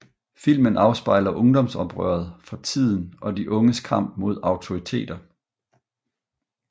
Filmen afspejler ungdomsoprøret fra tiden og de unges kamp mod autoriteter